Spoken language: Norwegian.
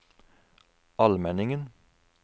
Almenningen